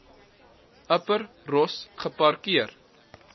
upper ross geparkeer